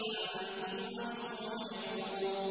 أَنتُمْ عَنْهُ مُعْرِضُونَ